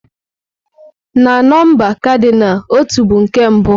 Na nọmba kadinal, "ọtú" bụ nke mbụ.